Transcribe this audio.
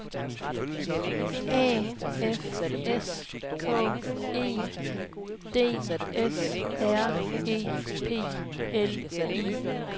A F S K E D S R E P L I K